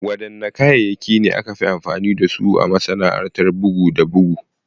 Wadanne kayayyaki ne aka fi amfani da su a masana’antar bugu da bugu?